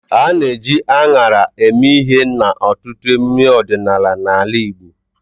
A na-eji aṅara eme ihe n'ọtụtụ emume ọdịnala n'ala Igbo.